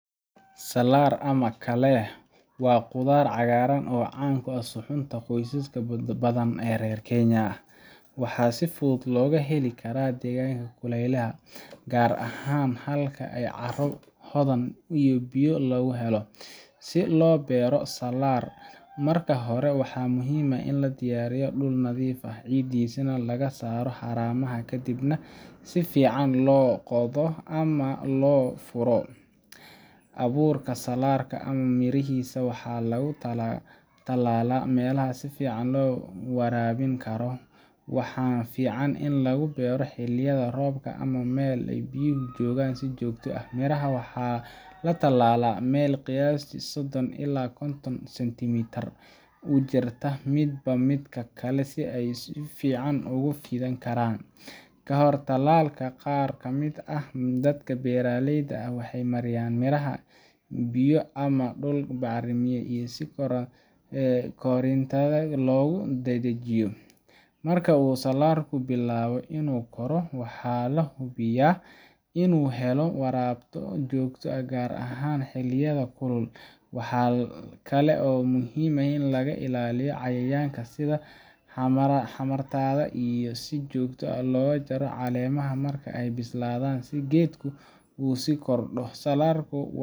Salaarka ama kaleeh waa khudaar cagaaran oo caan ku ah suxuunta qoysas badan oo reer Kenya ah, waxaana si fudud looga beeri karaa deegaanada kulaylaha ah, gaar ahaan halka ay carro hodan ah iyo biyo lagu helo. Si loo beero salaar, marka hore waxaa muhiim ah in la diyaariyo dhul nadiif ah, ciiddiisana laga saaro haramaha, kadibna si fiican loo qodo ama loo furo. Abuurka salaarka ama mirihiisa waxaa lagu tallaalaa meelaha si fiican loo waraabin karo, waxaana fiican in lagu beero xilliyada roobka ama meel ay biyuhu joogaan si joogto ah. Miraha waxaa la tallaalaa meel qiyaastii sodon ilaa kontom cenitimeter u jirta midba midka kale si ay si fiican ugu fidi karaan. Ka hor tallaalka, qaar ka mid ah dadka beeraleyda ah waxay mariyaan miraha biyo ama dhulka bacrimiya si koritaanka loogu dadajiyo. Marka uu salaarku bilaabo inuu koro, waxaa la hubiyaa inuu helayo waraab joogto ah, gaar ahaan xilliyada kulul. Waxaa kale oo muhiim ah in laga ilaaliyo cayayaanka sida xamaaratada, iyo in si joogto ah loo jaro caleemaha marka ay bislaadaan si geedku u sii kordho. Salaarka